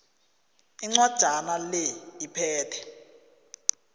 incwajana le iphethe